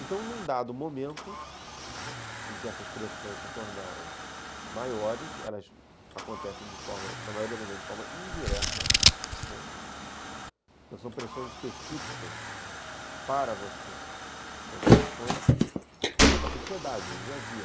Então, num dado momento em que essas pressões se tornaram maiores, elas acontecem, na maioria das vezes, de forma indireta, né, não são pressões específicas para você, são pressões da sociedade, do dia a dia.